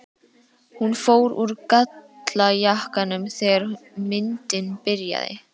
Hún fór úr gallajakkanum þegar myndin byrjaði.